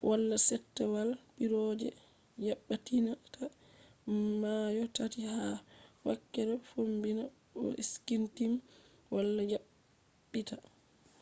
wala settewal piiroje yabbititta mayo tati ha wakkere fombina bo skyteam wala yabbita